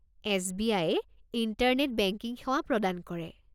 S B I য়ে internet banking সেৱা প্ৰদান কৰে।